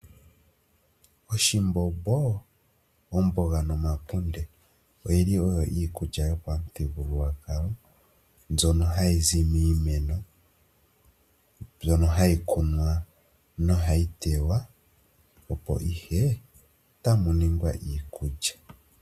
Oshimbombo, omboga nomakunde, oyi li oyo iikulya yopamuthigululwakalo, mbyono hayi zi miimeno. Mbyono hayi kunwa nohayi tewa, opo ihe tamu ningwa iikulya.